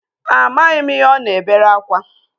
Amaghị m ihe ọ na-ebere akwa